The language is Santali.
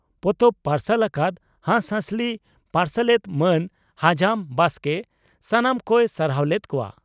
ᱯᱚᱛᱚᱵ ᱯᱟᱨᱥᱟᱞ ᱟᱠᱟᱫ ᱦᱟᱸᱥᱦᱟᱸᱥᱞᱤ ᱯᱟᱨᱥᱟᱞᱮᱛ ᱢᱟᱱ ᱦᱟᱡᱟᱢ ᱵᱟᱥᱠᱮ ᱥᱟᱱᱟᱢ ᱠᱚᱭ ᱥᱟᱨᱦᱟᱣ ᱞᱮᱫ ᱠᱚᱣᱟ ᱾